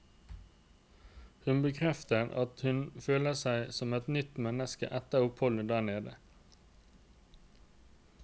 Hun bekrefter at hun følte seg som et nytt menneske etter oppholdet der nede.